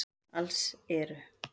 Alls eru